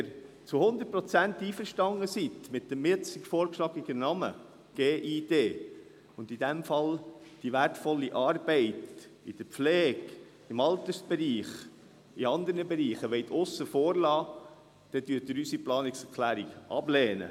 Wenn Sie mit dem jetzt vorgeschlagenen Namen GID zu 100 Prozent einverstanden sind und in diesem Fall die wertvolle Arbeit in der Pflege, im Altersbereich und in anderen Bereichen aussen vor lassen wollen, dann lehnen Sie unsere Planungserklärung ab.